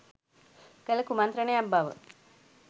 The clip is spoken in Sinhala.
කළ කුමන්ත්‍රණයක් බව